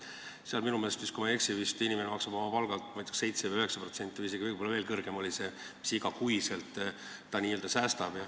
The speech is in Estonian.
Seal minu meelest, kui ma ei eksi, maksab inimene oma palgalt vist kas 7% või 9%, võib-olla on see summa isegi suurem, mille ta igas kuus n-ö säästab.